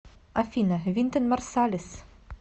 афина винтон марсалис